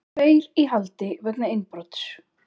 Tveir í haldi vegna innbrots